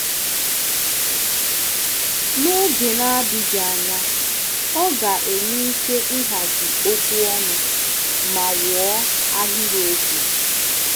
N’oge na-adịghị anya, ọ ga-enwe ike ịhazi okwu ọnụ ma wuo ahịrịokwu.